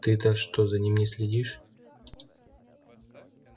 ты-то что за ним не следишь